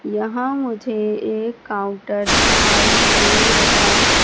यहां मुझे एक काउंटर दिखाई दे रहा--